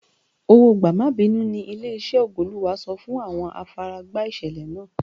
Owó gbà-má-bínú ní ilé-iṣẹ́ Ògo-Olúwa san fún àwọn afaragba ìṣẹ̀lẹ̀ náà.